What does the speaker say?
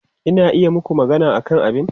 Ina iya yi maku magana akan abin?